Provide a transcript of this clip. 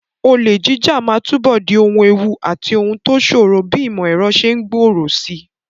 Olè jíjà máa túbọ̀ di ohun ewu àti ohun tó ṣòro bí ìmọ̀ ẹ̀rọ ṣe ń gbòòrò síi.